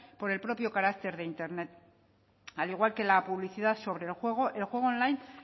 por el propio carácter de internet al igual que la publicidad sobre el juego el juego online